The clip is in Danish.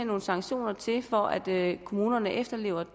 nogle sanktioner til for at kommunerne efterlever